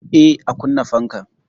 Eh, a kunna fankan.